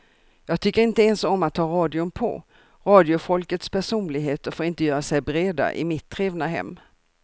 Jag tycker inte ens om att ha radion på, radiofolkets personligheter får inte göra sig breda i mitt trevna hem.